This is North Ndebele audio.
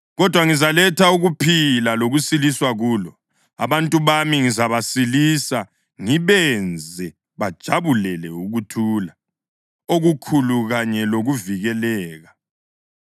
Kodwa, ngizaletha ukuphila lokusiliswa kulo. Abantu bami ngizabasilisa ngibenze bajabulele ukuthula okukhulu kanye lokuvikeleka.